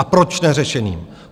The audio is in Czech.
A proč neřešeným?